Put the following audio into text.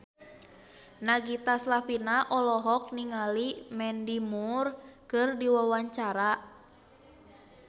Nagita Slavina olohok ningali Mandy Moore keur diwawancara